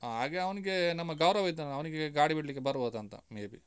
ಹಾಗೆ ಅವ್ನಿಗೆ ನಮ್ಮ ಗೌರವ್ ಇದ್ದಾನಲ್ಲ, ಅವ್ನಿಗೆ ಗಾಡಿ ಬಿಡ್ಲಿಕ್ಕೆ ಬರ್ಬೋದಾ ಅಂತ, maybe .